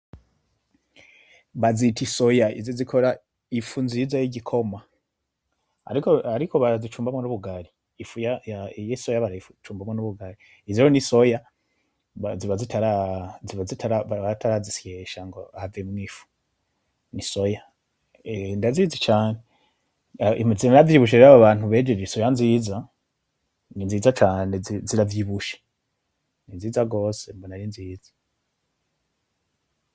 Bazita isoya, izi zikora ifu nziza y'igikoma, ariko barazicumbamwo n'ubugari, ifu y'isoya barayicumbamwo n'ubugari, izo rero n'isoya ziba zitara ziba zitara baba batarazisyesha ngo havemwo ifu , isoya ndazizi cane emwe ziranavyibusha rero ababantu bejeje isoya nziza, ninziza cane ziravyibusha ninziza gose mbona ari nziza.